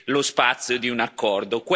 lo spazio di un accordo.